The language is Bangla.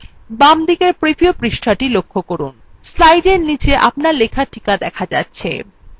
বামদিকের preview পৃষ্ঠাটি লক্ষ্য করুন slide নীচে আপনার লেখা টিকা দেখা যাচ্ছে